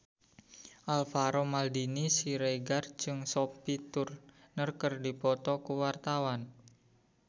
Alvaro Maldini Siregar jeung Sophie Turner keur dipoto ku wartawan